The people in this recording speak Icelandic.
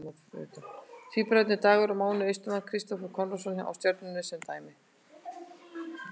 Tvíburabræðurnir Dagur og Máni Austmann og Kristófer Konráðsson hjá Stjörnunni sem dæmi.